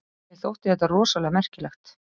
Mér þótti þetta rosalega merkilegt.